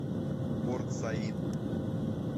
порт саид